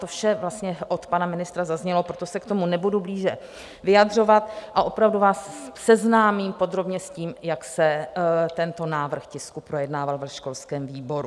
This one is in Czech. To vše od pana ministra zaznělo, proto se k tomu nebudu blíže vyjadřovat a opravdu vás seznámím podrobně s tím, jak se tento návrh tisku projednával ve školském výboru.